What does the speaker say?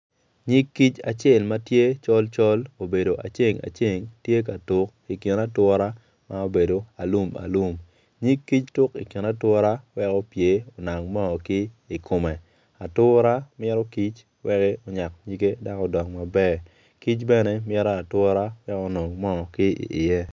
Nyig kic acel ma tye col col obedo aceng aceng tye ka tuk i kin ature ma obedo alum alum. Nyig kic tuk i kin ature wek opye onang mo ki i kome ature mito kic wek onyak nyige wek odong maber kic bene mito ature wek onongo moo ki iye.